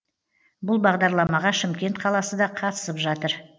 бұл бағдарламаға шымкент қаласы да қатысып жатыр